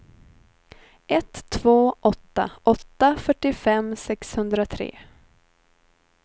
ett två åtta åtta fyrtiofem sexhundratre